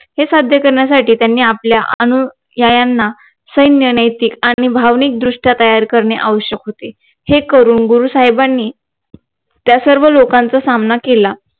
हे साध्य करण्यासाठी त्यांनी आपल्या अनुयायांना सैन्य नैतिक आणि भावनिक दृष्ट्या तयार करणे आवश्यक होते हे करून गुरु साहेबानी त्या सर्व लोकांचा सामना केला